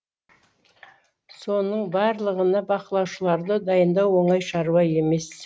соның барлығына бақылаушыларды дайындау оңай шаруа емес